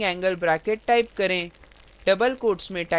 और दो opening angle brackets type करें